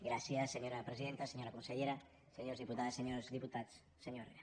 gràcies senyora presidenta senyora consellera senyores diputades senyors diputats senyor herrera